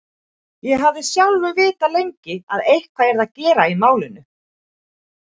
Ég hafði sjálfur vitað lengi að eitthvað yrði að gera í málinu.